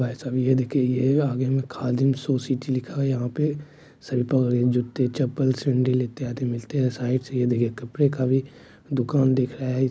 भाईसाब ये देखिए ये आगे में खादिम सोसिट लिखा है यहा पे सभी प्रकार के जुत्ते चप्पल सेंडल इत्यादि मिलते है साइड से ये देखिए कपड़े का भी दुकान दिख रहा है।